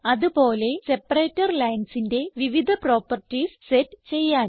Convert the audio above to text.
അത് പോലെ സെപ്പറേറ്റർ linesന്റെ വിവിധ പ്രോപ്പർട്ടീസ് സെറ്റ് ചെയ്യാൻ